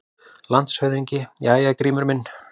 LANDSHÖFÐINGI: Jæja, Grímur minn!